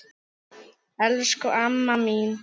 Elsku amma mín.